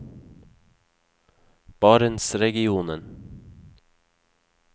barentsregionen